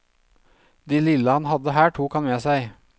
Det lille han hadde her tok han med seg.